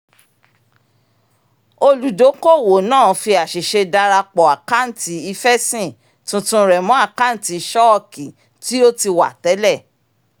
olùdókòwò náà fi àṣìṣe darapọ̀ àkántì ifẹ́sìn tuntun rẹ mọ́ àkántì ṣọ́ọ̀kì tí ó ti wà tẹ́lẹ̀